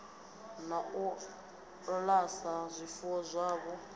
na u alusa zwifuwo zwavho